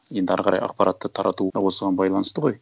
енді әрі қарай ақпаратты таратуы да осыған байланысты ғой